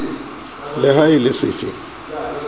le ha e le sefe